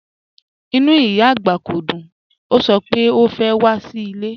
Ìnú ìyá agbá kò dùn, o sọ̀ pẹ̀ o fẹ́ wà sí ilẹ̀.